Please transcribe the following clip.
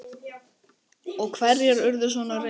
Og hverjir urðu svona reiðir?